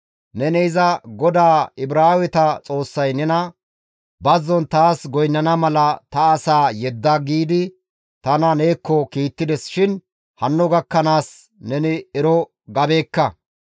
Neni iza, ‹GODAA Ibraaweta Xoossay nena, «Bazzon taas goynnana mala ta asaa yedda» giidi tana neekko kiittides shin hanno gakkanaas neni ero gabeekka.